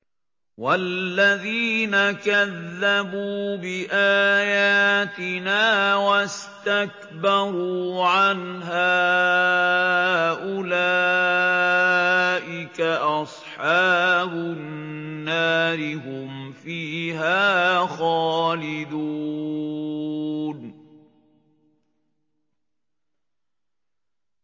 وَالَّذِينَ كَذَّبُوا بِآيَاتِنَا وَاسْتَكْبَرُوا عَنْهَا أُولَٰئِكَ أَصْحَابُ النَّارِ ۖ هُمْ فِيهَا خَالِدُونَ